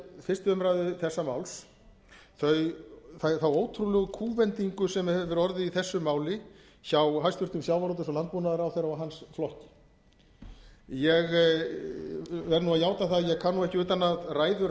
fyrstu umræðu þessa máls þá ótrúlegu kúvendingu sem hefur orðið í þessu máli hjá hæstvirtum sjávarútvegs og landbúnaðarráðherra og hans flokki ég verð að játa að ég kann ekki utan að ræður hæstvirtur